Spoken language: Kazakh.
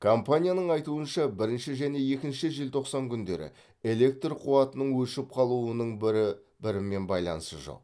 компанияның айтуынша бірінші және екінші желтоқсан күндері электр қуатының өшіп қалуының бірі бірімен байланысы жоқ